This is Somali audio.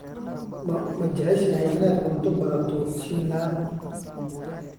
Ma jeceshahay inaad cunto baradho shiilan?